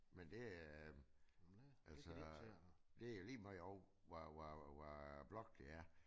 Men er øh altså det jo ligemeget over hvad hvad hvad blok det er